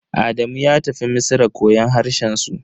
Adamu ya tafi Misra koyon harshen su.